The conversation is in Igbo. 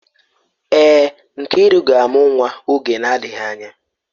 Èè, Nkiru ga-amụ nwa oge na-adịghị anya.